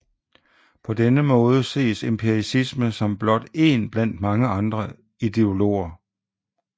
På denne måde ses empiricisme som blot én blandt andre ideologier